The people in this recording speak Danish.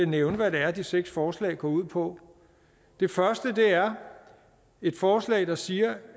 nævne hvad det er de seks forslag går ud på det første er et forslag der siger